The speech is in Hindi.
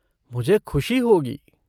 मुझे खुशी होगी।